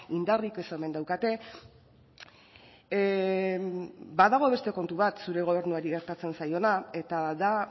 indarrik ez omen daukate badago beste kontu bat zure gobernuari gertatzen zaiona eta da